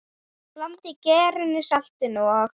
Blandið gerinu, saltinu og?